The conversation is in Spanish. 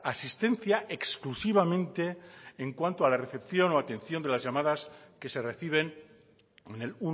asistencia exclusivamente en cuanto a la recepción o atención de las llamadas que se reciben en el